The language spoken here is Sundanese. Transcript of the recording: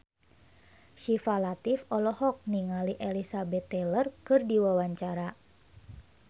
Syifa Latief olohok ningali Elizabeth Taylor keur diwawancara